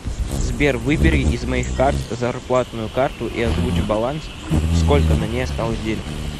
сбер выбери из моих карт зарплатную карту и озвучь баланс сколько на ней осталось денег